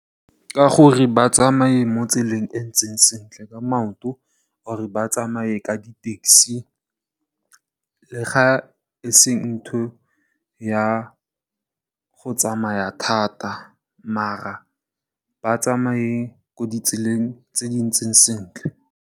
Ka gore ba tsamaye mo tseleng e ntseng sentle ka maoto or ba tsamaye ka di tekisi le ga ese ntho ya go tsamaya thata maar ba tsamaye mo di tseleng tse di ntseng sentle.